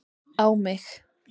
á mig.